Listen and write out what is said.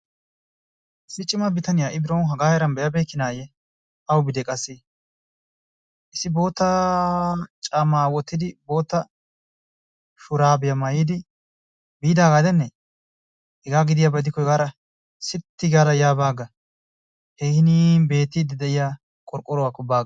Issi cimaa bitaniya ha'i biron hagaa heeran be'a beykkinayye awubiide qassi issi bootta caamma wottidi, bootta shurabbiya maayyidi biidaaaga gidenne? hegaa gidiyaba gidikko hegaara sitti gaada ya baa aga. He hiniin beetti de'iyaa qorqqoruwakko ba agga.